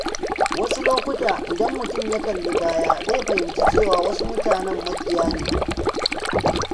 Wasu lokuta, idan mutum ya kalli baya, zai fahimci cewa wasu mutanen maƙiya ne.